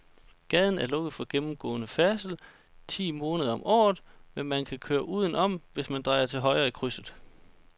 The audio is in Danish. Gaden er lukket for gennemgående færdsel ti måneder om året, men man kan køre udenom, hvis man drejer til højre i krydset.